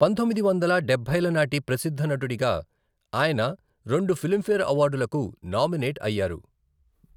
పంతొమ్మిది వందల డబ్బైల నాటి ప్రసిద్ధ నటుడిగా ఆయన రెండు ఫిల్మ్ ఫేర్ అవార్డులకు నామినేట్ అయ్యారు.